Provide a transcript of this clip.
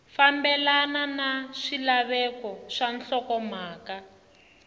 fambelana na swilaveko swa nhlokomhaka